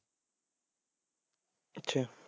ਅੱਛਾ